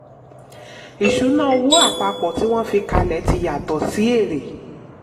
ìṣúná owó: apapọ tí wọ́n fi kalẹ̀ tí yàtọ̀ sí èrè.